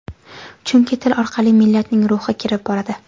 Chunki til orqali millatning ruhi kirib boradi.